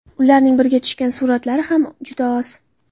Ularning birga tushgan suratlari ham juda oz.